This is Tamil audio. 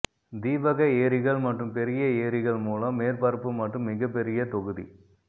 தீபக ஏரிகள் மற்றும் பெரிய ஏரிகள் மூலம் மேற்பரப்பு மற்றும் மிகப்பெரிய தொகுதி